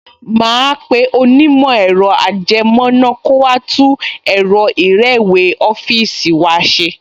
Màá pe onímọ̀ ẹ̀rọ-ajẹmọ́ná kó wá tún ẹ̀rọ ìrẹ́wèé ọ́fíìsì wa ṣe